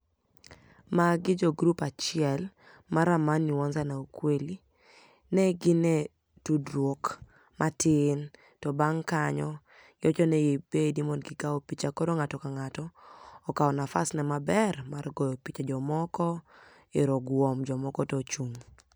Magi jogroup achiel mar amani huanza na ukweli. Negin e tudruok matin to bang' kanyo giwachoni gibedi mondo gikao picha, koro ng'ato kang'ato okao nafasne maber ma goyo picha, jomoko ero oguom jomoko to ochung'.